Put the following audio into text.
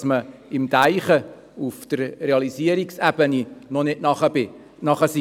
Man ist mit dem Denken auf der Realisierungsebene noch nicht soweit.